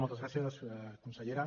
moltes gràcies consellera